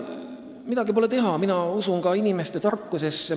Midagi pole teha, mina usun inimeste tarkusesse.